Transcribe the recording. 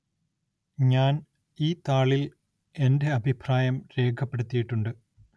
ഞാന്‍ ഈ താളില്‍ എന്റെ അഭിപ്രായം രേഖപ്പെടുത്തിയിട്ടുണ്ട്